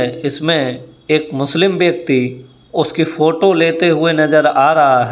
इसमें एक मुस्लिम व्यक्ति उसकी फोटो लेते हुए नजर आ रहा है।